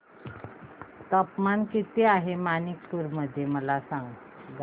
तापमान किती आहे मणिपुर मध्ये मला सांगा